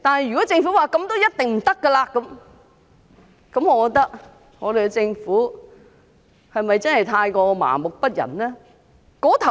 如果政府說這絕對不行，政府是否真的太過麻木不仁？